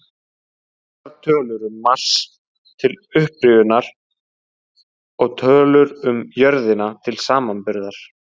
Nokkrar tölur um Mars, til upprifjunar, og tölur um jörðina til samanburðar: